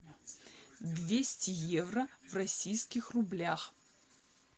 двести евро в российских рублях